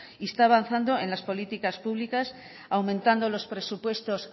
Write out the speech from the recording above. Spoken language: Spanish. y está avanzando en las políticas públicas aumentando los presupuestos